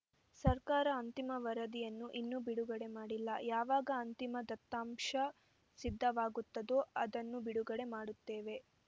ಸರ್ಕಾರ ಅಂತಿಮ ವರದಿಯನ್ನು ಇನ್ನೂ ಬಿಡುಗಡೆ ಮಾಡಿಲ್ಲ ಯಾವಾಗ ಅಂತಿಮ ದತ್ತಾಂಶ ಸಿದ್ಧವಾಗುತ್ತದೋ ಅದನ್ನು ಬಿಡುಗಡೆ ಮಾಡುತ್ತೇವೆ